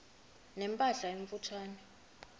ne mpahla emfutshane